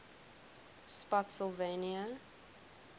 spottsylvania